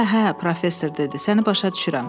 Hə, hə, professor dedi, səni başa düşürəm.